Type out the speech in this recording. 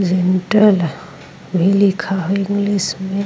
Gentle भी लिखा है इंग्लिश में।